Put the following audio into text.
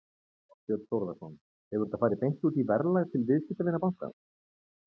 Þorbjörn Þórðarson: Hefur þetta farið beint út í verðlag til viðskiptavina bankans?